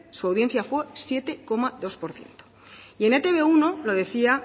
su audiencia fue siete coma dos por ciento y en e te be uno lo decía